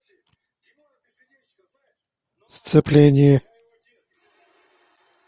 сцепление